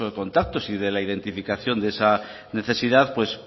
contactos y de la identificación de esa necesidad